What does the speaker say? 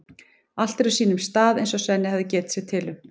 Allt er á sínum stað eins og Svenni hafði getið sér til um.